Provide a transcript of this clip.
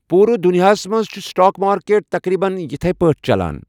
پوٗرٕ دُنیاہَس منٛز چھِ سٹاک مارکیٹ تقریباً اِتھۍ پٲٹھۍ چلان۔